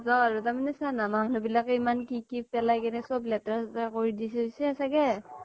নাজাও আৰু তাৰ মানে চা না মানুহবিলাকে ইমান কি কি পেলায় কিনে সব লেতেৰা চেতাৰ কৰি দি থৈছে চাগে